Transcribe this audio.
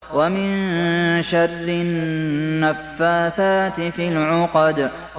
وَمِن شَرِّ النَّفَّاثَاتِ فِي الْعُقَدِ